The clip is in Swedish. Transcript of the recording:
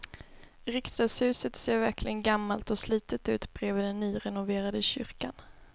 Riksdagshuset ser verkligen gammalt och slitet ut bredvid den nyrenoverade kyrkan.